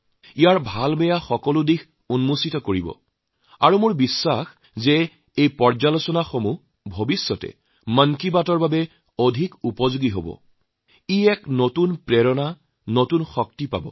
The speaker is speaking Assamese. প্ৰতিটো বস্তৰ যোগবিয়োগ তুলি ধৰিব আৰু মোৰ বিশ্বাস যে এই বিচাৰবিশ্লেষণে ভৱিষ্যতে মন কী বাতৰ বাবে যথেষ্ট উপযোগী হব তাৰ দ্বাৰা এক নতুন চেতনা নতুন উদ্যম পাব